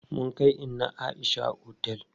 Mun kai inna Aisha otel.